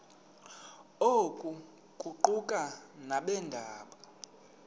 oku kuquka nabeendaba